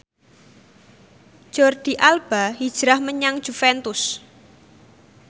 Jordi Alba hijrah menyang Juventus